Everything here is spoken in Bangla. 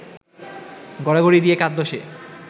গড়াগড়ি দিয়ে কাঁদল সে